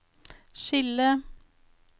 skille